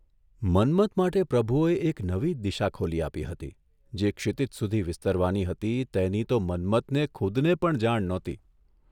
મન્મથ માટે પ્રભુએ એક નવી જ દિશા ખોલી આપી હતી જે ક્ષિતિજ સુધી વિસ્તરવાની હતી તેની તો મન્મથને ખુદને પણ જાણ નહોતી !